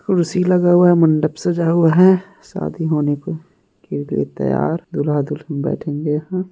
कुर्सी लगा हुआ है मंडप सजा हुआ है सादी होने को लिए तैयार दूल्हा दुल्हन बैठेंगे यहाँ--